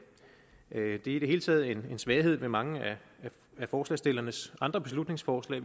det er i det hele taget en svaghed ved mange af forslagsstillernes andre beslutningsforslag